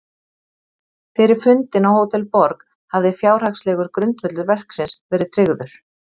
Fyrir fundinn á Hótel Borg hafði fjárhagslegur grundvöllur verksins verið tryggður.